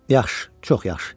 Yaxşı, çox yaxşı.